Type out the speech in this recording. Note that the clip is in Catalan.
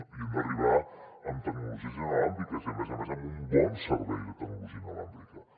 hi hem d’arribar amb tecnologies sense fils i a més a més amb un bon servei de tecnologia sense fils